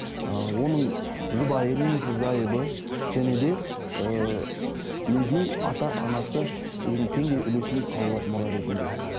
ы оның жұбайы немесе зайыбы және де ыыы өзінің ата анасы өзінің теңдей үлесін ала алады мұра ретінде